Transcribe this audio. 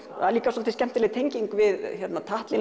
það er líka svolítið skemmtileg tenging við Tatlin